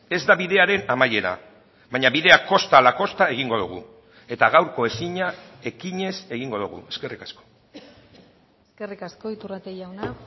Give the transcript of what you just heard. ez da bidearen amaiera baina bidea kosta ala kosta egingo dugu eta gaurko ezina ekinez egingo dugu eskerrik asko eskerrik asko iturrate jauna